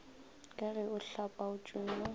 ka ge a hlapaotše yo